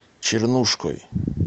чернушкой